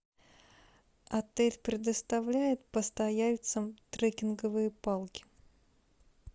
отель предоставляет постояльцам трекинговые палки